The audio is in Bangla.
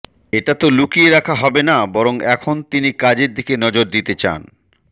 এটা তো লুকিয়ে রাখা হবে না বরং এখন তিনি কাজের দিকে নজর দিতে চান